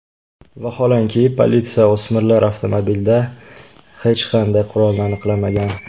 Vaholanki, politsiya o‘smirlar avtomobilida hech qanday qurolni aniqlamagan.